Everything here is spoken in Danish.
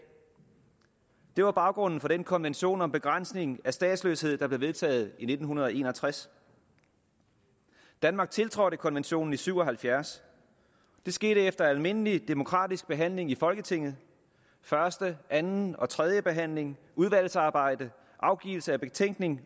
det var baggrunden for den konvention om begrænsning af statsløshed der blev vedtaget i nitten en og tres danmark tiltrådte konventionen i nitten syv og halvfjerds det skete efter almindelig demokratisk behandling i folketinget første anden og tredje behandling udvalgsarbejde afgivelse af betænkning